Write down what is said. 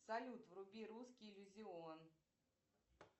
салют вруби русский иллюзион